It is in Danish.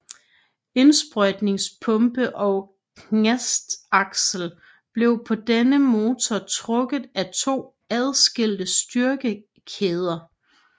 Indsprøjtningspumpe og knastaksel blev på denne motor trukket af to adskilte styrekæder